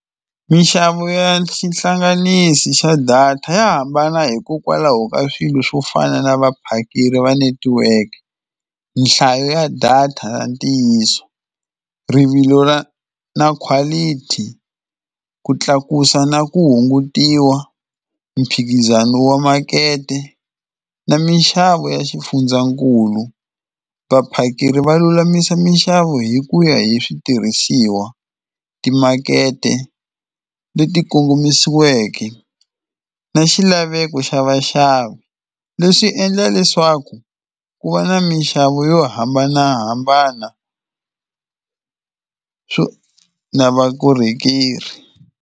Minxavo ya xihlanganisi xa data ya hambana hikokwalaho ka swilo swo fana na vaphakeri va network, nhlayo ya data ya ntiyiso, rivilo ra na quality, ku tlakusa na ku hungutiwa, mphikizano wa makete na minxavo ya xifundzankulu. Vaphakeri va lulamisa minxavo hi ku ya hi switirhisiwa, timakete leti kongomisiweke na xilaveko xa vaxavi. Leswi swi endla leswaku ku va na minxavo yo hambanahambana swo na vakorhokeri.